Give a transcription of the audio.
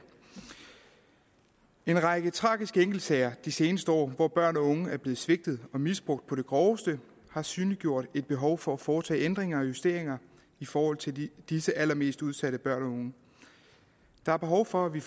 en række tragiske enkeltsager de seneste år hvor børn og unge er blevet svigtet og misbrugt på det groveste har synliggjort et behov for at foretage ændringer og justeringer i forhold til disse allermest udsatte børn og unge der er behov for at vi